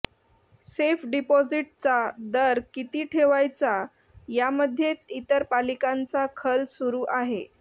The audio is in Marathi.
सेफ डिपॉझिटचा दर किती ठेवायचा यामध्येच इतर पालिकांचा खल सुरू आहे